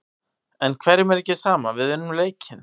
En hverjum er ekki sama, við unnum leikinn.